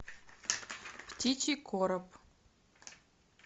птичий короб